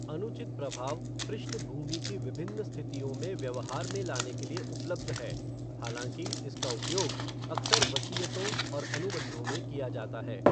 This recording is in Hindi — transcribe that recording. अनुचित प्रभाव पृष्ठभूमि की विभिन्न स्थितियों में व्यवहार में लाने के लिए उपलब्ध है, हालांकि इसका उपयोग अक्सर वसीयतों और अनुबंधों में किया जाता है।